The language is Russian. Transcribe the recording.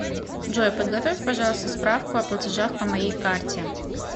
джой подготовь пожалуйста справку о платежах по моей карте